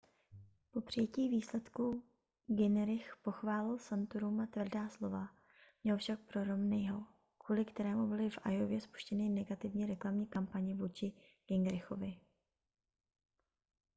po přijetí výsledků gingrich pochválil santoruma tvrdá slova měl však pro romneyho kvůli kterému byly v iowě spuštěny negativní reklamní kampaně vůči gingrichovi